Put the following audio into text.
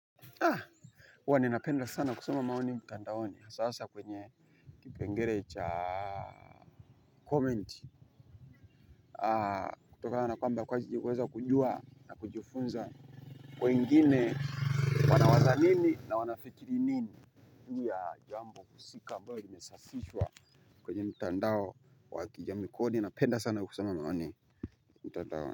Na. Huwa ninapenda sana kusoma maoni mtandaoni hasa hasa kwenye kipengele cha. Comment kutokana kwamba kwa ajili huweza kujua na kujufunza. Kwa ingine wanawaza nini na wanafikiri nini. Hii ya jambo husika ambayo limesafishwa. Kwenye mtandao wa kijamii kodi napenda sana kusema maoni mtandaoni.